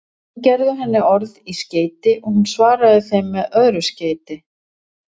Menn gerðu henni orð í skeyti og hún svaraði þeim með öðru skeyti.